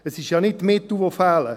Es sind ja nicht Mittel, die fehlen.